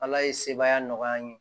Ala ye sebaya nɔgɔya n ye